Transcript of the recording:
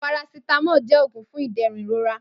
Parasitamọ jẹ́ oògùn fún ìdẹ̀rùn ìrora